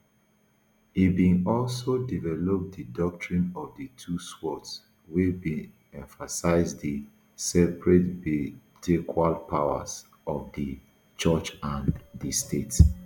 e bin also develop di doctrine of di two swords wey bin emphasise di separatebutequal powers of di church and di state